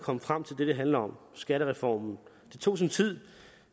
komme frem til det det handler om skattereformen det tog sin tid